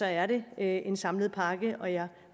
er det en samlet pakke og jeg